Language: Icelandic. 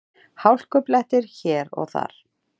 Hálkublettir hér og þar